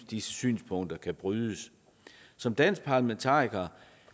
disse synspunkter kan brydes som dansk parlamentariker